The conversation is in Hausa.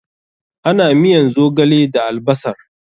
Ana miyan zogale da albasar.